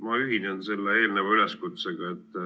Ma ühinen selle eelneva üleskutsega.